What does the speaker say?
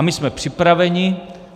A my jsme připraveni.